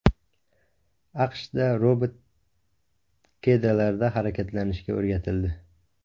AQShda robot kedalarda harakatlanishga o‘rgatildi .